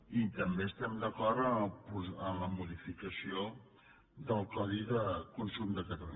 i també estem d’acord en la modificació del codi de consum de catalunya